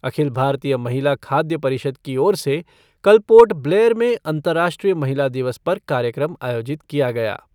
अखिल भारतीय महिला खाद्य परिषद की ओर से कल पोर्ट ब्लेयर में अंतर्राष्ट्रीय महिला दिवस पर कार्यक्रम आयोजित किया गया।